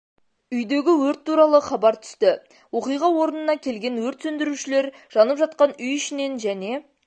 үйдегі өрт туралы хабар түсті оқиға орынына келген өрт сөндірушілер жанып жатқан үй ішінен және